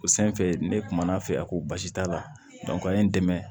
O sanfɛ ne kuman'a fɛ a ko basi t'a la a ye n dɛmɛ